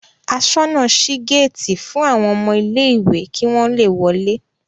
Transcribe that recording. Aṣọ́nà ṣí géétì fún àwọn ọmọ ilé-ìwé kí wọ́n le lọlé.